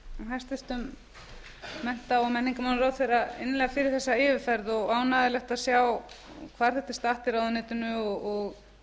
hæstvirtum mennta og menningarmálaráðherra innilega fyrir þessa yfirferð og er ánægjulegt að sjá hvar þetta er statt í ráðuneytinu